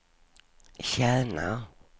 tjänar